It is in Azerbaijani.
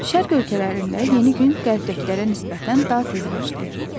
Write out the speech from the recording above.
Şərq ölkələrində yeni gün qərbdəkilərə nisbətən daha tez başlayır.